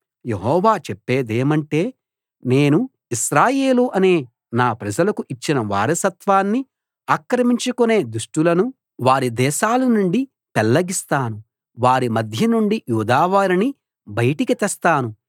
యెహోవా చెప్పేదేమంటే నేను ఇశ్రాయేలు అనే నా ప్రజలకు ఇచ్చిన వారసత్వాన్ని ఆక్రమించుకొనే దుష్టులను వారి దేశాల నుండి పెళ్లగిస్తాను వారి మధ్య నుండి యూదావారిని బయటికి తెస్తాను